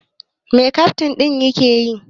Mai kaftin ɗin ke yi?